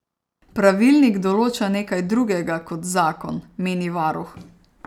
Pravilnik določa nekaj drugega kot zakon, meni varuh.